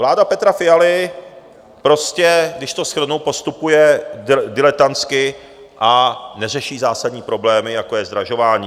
Vláda Petra Fialy prostě, když to shrnu, postupuje diletantsky a neřeší zásadní problémy, jako je zdražování.